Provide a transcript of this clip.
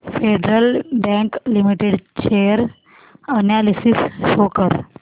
federal bank limited share analysis show कर